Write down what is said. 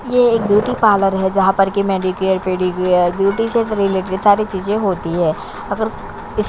ये एक beauty parlour है जहाँ पर के मैनीक्योर पेडीक्योर ब्यूटी से रिलेटेड सारी चीज होती है अगर इस--